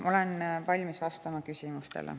Ma olen valmis vastama küsimustele.